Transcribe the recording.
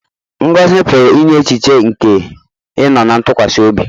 Ngọzi pụrụ inye echiche nke ịnọ ná ntụkwasị obi.